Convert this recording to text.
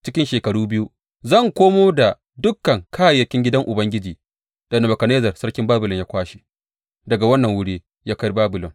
Cikin shekaru biyu zan komo da dukan kayayyakin gidan Ubangiji da Nebukadnezzar sarkin Babilon ya kwashe daga wannan wuri ya kai Babilon.